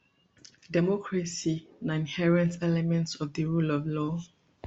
democracy na inherent element of di rule of law